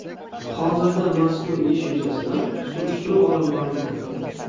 Hozirda mazkur ish yuzasidan surishtiruv olib borilmoqda.